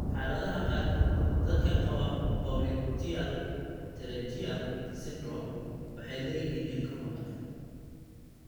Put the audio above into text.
Xaaladaha qaarkood, dadka qaba popliteal pterygium syndrome waxay leeyihiin ilko maqan.